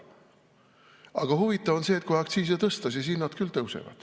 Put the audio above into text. Aga huvitav on see, et kui aktsiise tõsta, siis hinnad küll tõusevad.